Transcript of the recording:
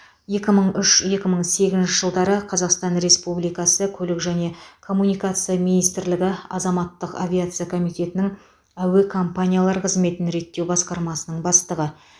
екі мың үш екі мың сегізінші жылдары қазақстан республикасы көлік және коммуникация министрлігі азаматтық авиация комитетінің әуе компаниялар қызметін реттеу басқармасының бастығы